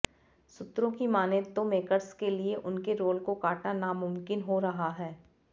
सूत्रों की मानें तो मेकर्स के लिए उनके रोल को काटना नामुमकिन हो रहा है